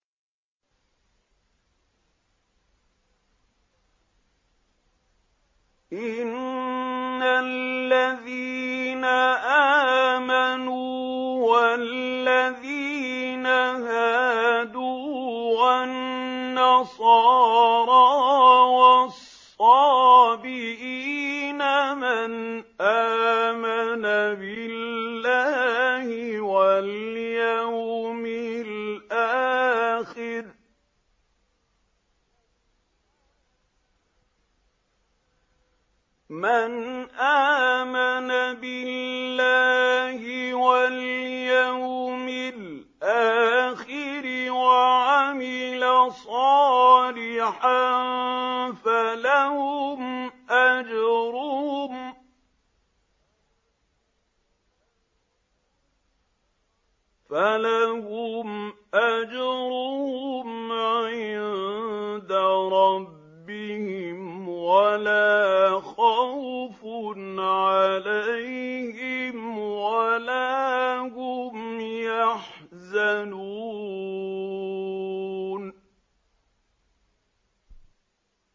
إِنَّ الَّذِينَ آمَنُوا وَالَّذِينَ هَادُوا وَالنَّصَارَىٰ وَالصَّابِئِينَ مَنْ آمَنَ بِاللَّهِ وَالْيَوْمِ الْآخِرِ وَعَمِلَ صَالِحًا فَلَهُمْ أَجْرُهُمْ عِندَ رَبِّهِمْ وَلَا خَوْفٌ عَلَيْهِمْ وَلَا هُمْ يَحْزَنُونَ